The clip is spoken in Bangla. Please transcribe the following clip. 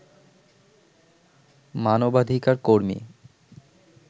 মানবাধিকার কর্মী